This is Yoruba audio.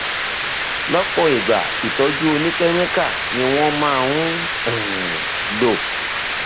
lọpọ ìgbà ìtọjú oníkẹmíkà ni wọn sábà máa ń um lò